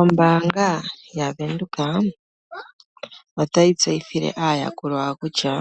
Ombaanga yaVenduka otayi tseyithile aayakulwa yawo kutya